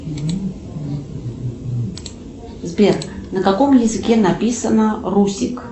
сбер на каком языке написано русик